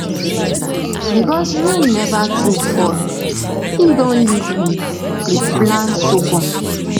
because rain never too fall him don leave wheat dey plant sorghum